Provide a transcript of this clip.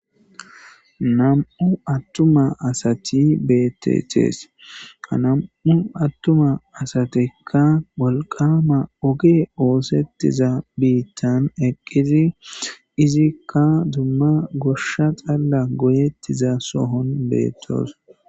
Nam7u attuma asati bettethees ha nam7u attuma asatekka wolqama oge oosettiza biittan eqqizi izikka dumma goshsha xalla goyettiza sohon beettoos.